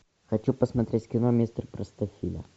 хочу посмотреть кино мистер простофиля